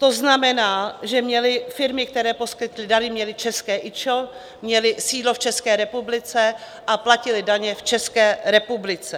To znamená, že firmy, které poskytly dary, měly české IČO, měly sídlo v České republice a platily daně v České republice.